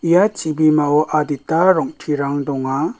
ia chibimao adita rong·terang donga.